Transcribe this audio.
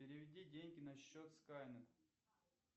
переведи деньги на счет скайнет